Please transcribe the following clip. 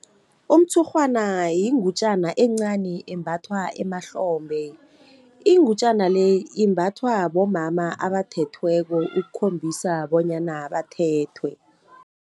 Umtshurhwana yingutjana encani embathwa emahlombe, ingutjana le imbathwa bomama abathethweko ukukhombisa bonyana bathethwe.